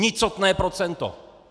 Nicotné procento!